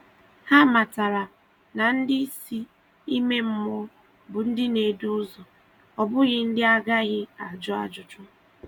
Hà mátàrà na ndị isi ime mmụọ bụ ndị na-edù ụzọ, ọ bụghị ndị a gaghị ajụ ajụjụ.